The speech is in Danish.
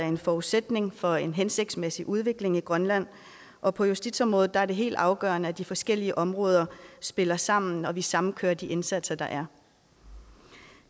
en forudsætning for en hensigtsmæssig udvikling i grønland og på justitsområdet er det helt afgørende at de forskellige områder spiller sammen og at vi samkører de indsatser der er